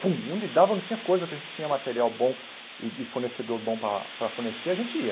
onde dava, não tinha coisa, que a gente tinha material bom e de fornecedor bom para para fornecer, a gente ia.